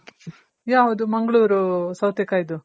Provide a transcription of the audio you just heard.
ಯಾವ್ದು ಮಂಗಳೂರು ಸೌತೆ ಕಾಯ್ದು ಆಗ್ತದೆ ಕೊಂಬಲ್ ಕಾಯಿ ಡು ಆಗ್ತದೆ ಬಿಜಗಳೆಲ್ಲ .